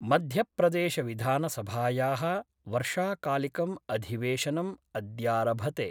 मध्यप्रदेशविधानसभाया: वर्षाकालिकम् अधिवेशनम् अद्यारभते।